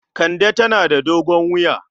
Kande tana da dogon wuya.